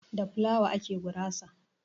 Da flawa ake gurasa.